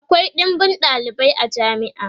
akwai ɗinbin ɗalibai a jami'a